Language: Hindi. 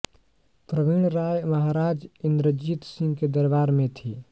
प्रवीण राय महाराज इन्द्रजीत सिंह के दरबार में थी